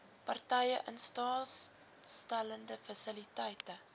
partye instaatstellende fasiliteite